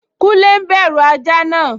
Kúnlé n bẹ̀rù ajá náà